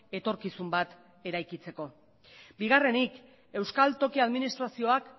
etorkizun bat eraikitzeko bigarrenik euskal toki administrazioak